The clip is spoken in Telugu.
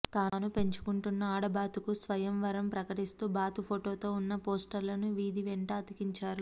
తాను పెంచుకుంటున్న ఆడబాతుకు స్వయం వరం ప్రకటిస్తూ బాతు ఫోటోతో ఉన్న పోస్లర్లను వీధి వెంట అతికించారు